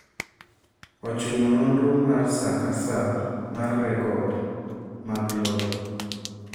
ochuno nonro mar saa ka saa mar rekod mag lowo